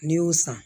N'i y'o san